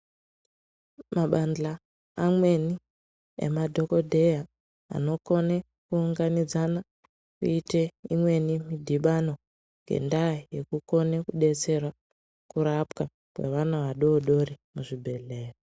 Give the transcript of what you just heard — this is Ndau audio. Mabanhla amweni emadhokodheya anokona kuunganidzana kuita midhibano ngenda yekukona kudetsera kurapwa kwevana vadodori muzvibhedhlera.